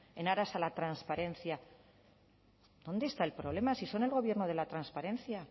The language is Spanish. en aras a la transparencia dónde está el problema si son el gobierno de la transparencia